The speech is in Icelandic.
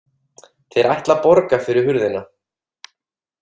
Þeir ætla að borga fyrir hurðina